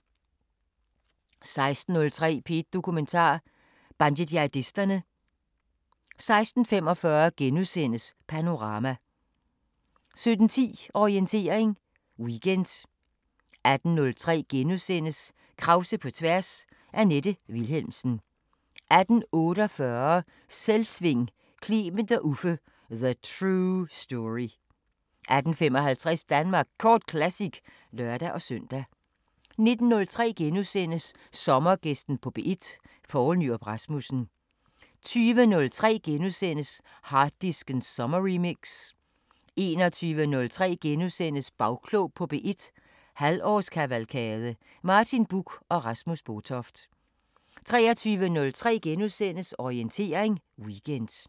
16:03: P1 Dokumentar: Bandejihadisterne 16:45: Panorama * 17:10: Orientering Weekend 18:03: Krause på tværs: Annette Vilhelmsen * 18:48: Selvsving: Clement og Uffe – The true story 18:55: Danmark Kort Classic (lør-søn) 19:03: Sommergæsten på P1: Poul Nyrup Rasmussen * 20:03: Harddisken sommerremix * 21:03: Bagklog på P1 – halvårskavalkade: Martin Buch og Rasmus Botoft * 23:03: Orientering Weekend *